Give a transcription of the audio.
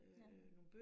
Ja